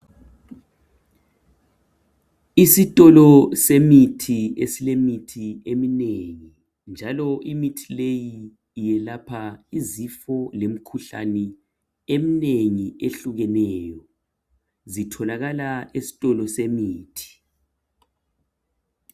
Isitolo semithi esilemithi eminengi njalo imithi leyi iyelapha izifo lemikhuhlane eminengi ehlukeneyo. Zitholakala esitolo semithi.